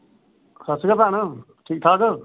ਸਤ ਸ੍ਰੀ ਅਕਾਲ ਭੈਣ ਠੀਕ ਠਾਕ